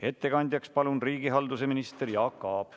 Ettekandjaks palun riigihalduse ministri Jaak Aabi!